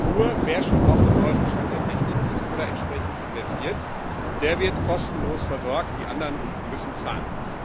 Also nur wer schon auf dem neuesten Stand der Technik ist oder entsprechend investiert, der wird kostenlos versorgt die anderen müssen zahlen.